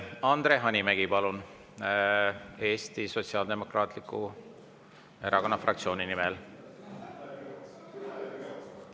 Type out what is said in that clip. Andre Hanimägi, palun, Eesti Sotsiaaldemokraatliku Erakonna fraktsiooni nimel.